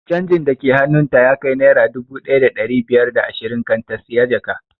Canjin da ke hannun ta ya kai naira dubu ɗaya da ɗari biyar da ashirin kan ta siya jaka